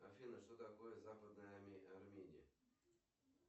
афина что такое западная армения